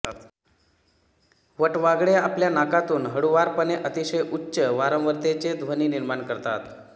वटवाघळे आपल्या नाकातून हळूवारपणे अतिशय उच्च वारंवारतेचे ध्वनी निर्माण करतात